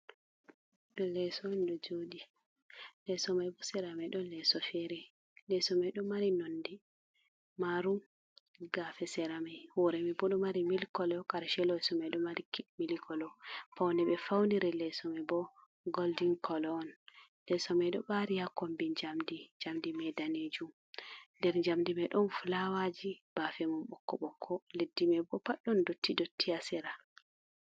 Do leso on do jodi lesomai bo seramai don leso fere, lesomai do mari nondi Marum gafe seramai huremai bo do mari mil color karshe lesomai do mari mil kolou paune be fauniri le somai bo golden colone, lesomai do bari ya kombi jamdi jamdi meidanejum, nder jamdi mai don flawaji bafemum bokko bokko leddi mai bo paddon dotti dotti hasera.